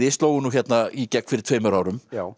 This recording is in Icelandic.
slógu nú hérna í gegn fyrir tveimur árum